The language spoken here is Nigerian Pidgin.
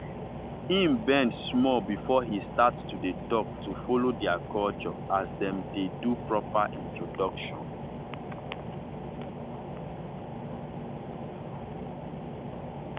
him bend small before he start to dey talkto follow their culture as dem dey do proper introduction.